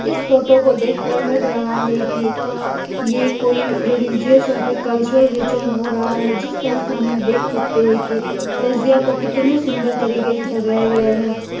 इस फोटो को देखकर लग रहा है कि ये कोई रिलिजियस या फिर कल्चरल रिचुअल हो रहा है जिस तरह से हम लोग देख सकते हैं की तजिया को कितने सुंदर तरीके से सजाया गया है।